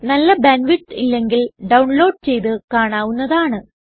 നല്ല bandwidth ഇല്ലെങ്കിൽ download ചെയ്തു കാണാവുന്നതാണ്